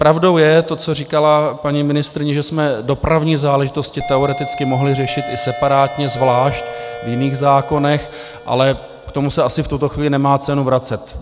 Pravdou je to, co říkala paní ministryně, že jsme dopravní záležitosti teoreticky mohli řešit i separátně, zvlášť, v jiných zákonech, ale k tomu se asi v tuto chvíli nemá cenu vracet.